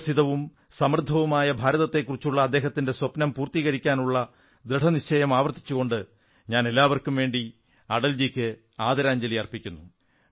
വികസിതവും സമൃദ്ധവുമായ ഭാരതത്തെക്കുറിച്ചുള്ള അദ്ദേഹത്തിന്റെ സ്വപ്നം പൂർത്തീകരിക്കാനുള്ള ദൃഢനിശ്ചയം ആവർത്തിച്ചുകൊണ്ട് ഞാൻ എല്ലാവർക്കും വേണ്ടി അടൽജിക്ക് ആദരാഞ്ജലി അർപ്പിക്കുന്നു